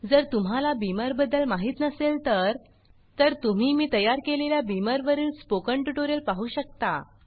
जर तुम्हाला Beamerबीमर बदद्ल माहीत नसेल तर तर तुम्ही मी तयार केलेल्या Beamerबीमर वरील स्पोकन ट्यूटोरियल पाहु शकता